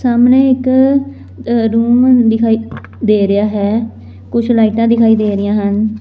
ਸਾਹਮਣੇ ਇੱਕ ਰੂਮ ਦਿਖਾਈ ਦੇ ਰਿਹਾ ਹੈ ਕੁਝ ਲਾਈਟਾਂ ਦਿਖਾਈ ਦੇ ਰਹੀਆਂ ਹਨ।